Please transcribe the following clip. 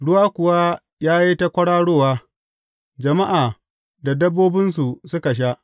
Ruwa kuwa ya yi ta kwararowa, jama’a da dabbobinsu suka sha.